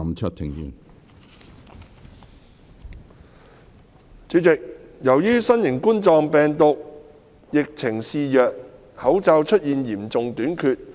主席，由於新型冠狀病毒疫情肆虐，口罩出現嚴重短缺。